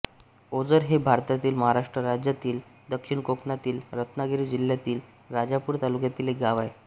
ओझर हे भारतातील महाराष्ट्र राज्यातील दक्षिण कोकणातील रत्नागिरी जिल्ह्यातील राजापूर तालुक्यातील एक गाव आहे